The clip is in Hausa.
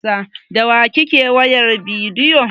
Da wa kike wayar bidiyo?